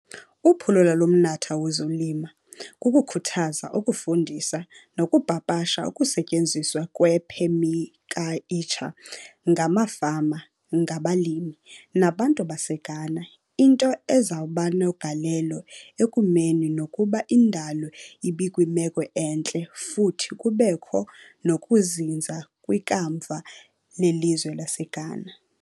Uphulo lalomnatha wozolima kukukhuthaza, ukufundisa, nokupapasha ukusetyenziswa kwephemikaltsha ngamafama, ngabalimi, nabantu baseGhana, into ezakubanegalelo ekumeni nokuba indalo ibekwimeko entle futhi kubekho nokuzinza kwikamva lelizwelaseGhana.